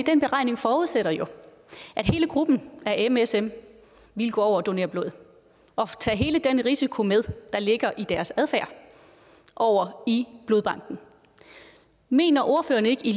den beregning forudsætter jo at hele gruppen af msm ville gå over og donere blod og tage hele den risiko med der ligger i deres adfærd over i blodbanken mener ordføreren ikke i